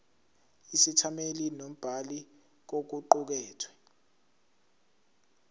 isethameli nombhali kokuqukethwe